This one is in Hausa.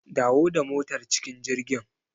Dawo da motar cikin jirgin.